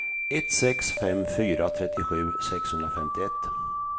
ett sex fem fyra trettiosju sexhundrafemtioett